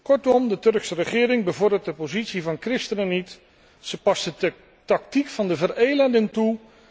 Kortom, de Turkse regering bevordert de positie van christenen niet, zij past de tactiek van de Verelendung toe.